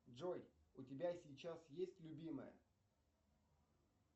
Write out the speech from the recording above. джой у тебя сейчас есть любимая